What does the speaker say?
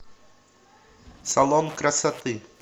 салон красоты